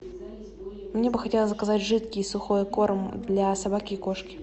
мне бы хотелось заказать жидкий и сухой корм для собаки и кошки